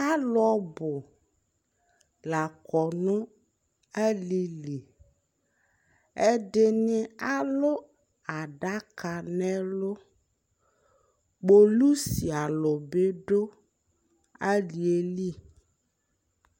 Alʋ ɔbʋ la kɔ nʋ alili Ɛdini alʋ adaka n'ɛlʋ Kpolʋsi alʋ bi dʋ ali yɛ li